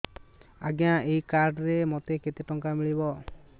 ଆଜ୍ଞା ଏଇ କାର୍ଡ ରେ ମୋତେ କେତେ ଟଙ୍କା ମିଳିବ